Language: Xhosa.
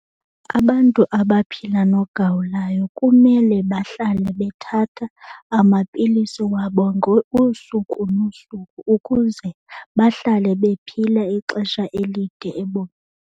Abantu abaphila nogawulayo kumele bahlale bethatha amapilisi wabo usuku nosuku ukuze bahlale bephila ixesha elide .